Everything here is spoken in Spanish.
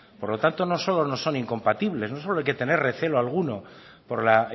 por lo tanto no solo no son incompatibles no solo hay que tener recelo alguno por la